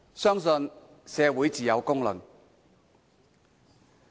相信社會自有公論。